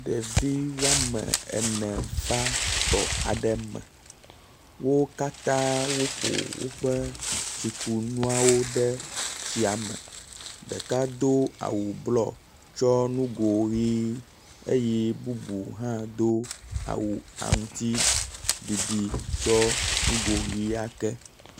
Ɖevi woame ene va tɔ aɖe me, wo katãa woƒo woƒe tsikunua ɖe etsia me. Ɖeka do awu blɔ, tsɔ nugo ʋe eye bubu hã do awu aŋutiɖiɖi, tsɔ nugo ʋɛ̃a ke.